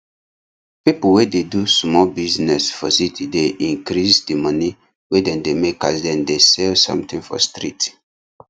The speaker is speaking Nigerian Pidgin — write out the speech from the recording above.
pipu wey dey do sumol business for city dey increase di money wey dem dey make as dem dey sell somthing for street